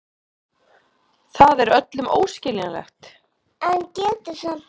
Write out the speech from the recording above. Það er öllum óskiljanlegt.